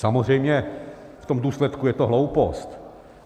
Samozřejmě v tom důsledku je to hloupost.